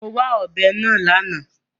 Mo wá ọ̀bẹ náà lánàá.